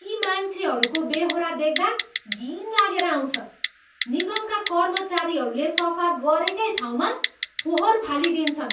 यी मान्छेहरूको बेहोरा देख्दा घिन लागेर आउँछ। निगमका कर्मचारीहरूले सफा गरेकै ठाउँमा फोहोर फालिदिन्छन्।